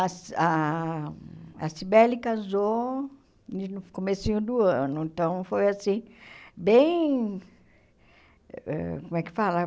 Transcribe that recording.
A Si ah a Sibeli casou no comecinho do ano, então foi assim, bem ãh... Como é que fala?